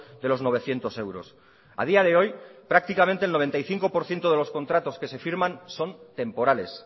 de los novecientos euros a día de hoy prácticamente el noventa y cinco por ciento de los contratos que se firman son temporales